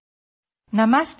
Audio UNESCO DG